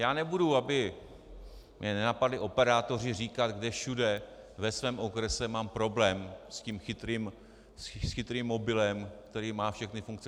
Já nebudu, aby mě nenapadli operátoři, říkat, kde všude ve svém okrese mám problém s tím chytrým mobilem, který má všechny funkce.